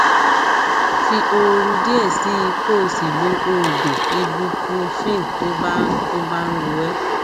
fi ooru díẹ sí i kó o sì lo oògùn ibuprofen tó bá tó bá ń ro ẹ